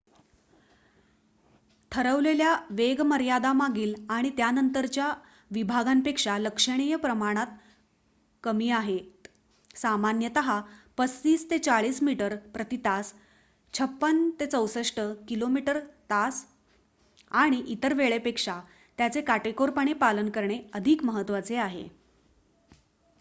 ठरवलेल्या वेगमर्यादा मागील आणि त्यानंतरच्या विभागांपेक्षा लक्षणीय प्रमाणात कमी आहेत — सामान्यतः ३५-४० मीटर प्रति तास ५६-६४ किमी/तास — आणि इतर वेळपेक्षा त्याचे काटेकोरपणे पालन करणे अधिक महत्त्वाचे आहे